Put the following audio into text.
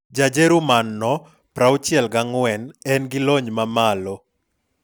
Ja Jerman no ,64, en gi lony mamalo.